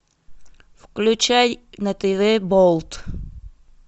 включай на тв болт